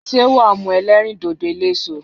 Sé wàá mu elérìndòdò eléso